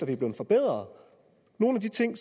det er blevet forbedret nogle af de ting